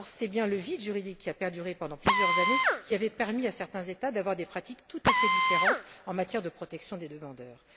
Or, c'est bien le vide juridique, qui a perduré pendant plusieurs années, qui avait permis à certains États d'avoir des pratiques tout à fait différentes en matière de protection des demandeurs.